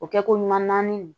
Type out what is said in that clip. O kɛ ko ɲuman naani